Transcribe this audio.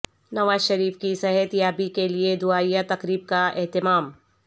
نوازشریف کی صحت یابی کیلئے دعائیہ تقریب کا اہتمام